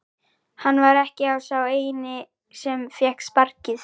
Hann var ekki sá eini sem fékk sparkið.